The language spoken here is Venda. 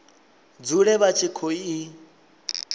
dzule vha tshi khou i